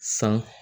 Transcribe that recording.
San